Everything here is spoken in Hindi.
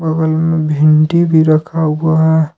भिंडी भी रखा हुआ है।